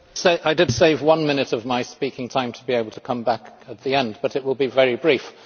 Mr President, I did save one minute of my speaking time to be able to come back at the end, but I will be very brief.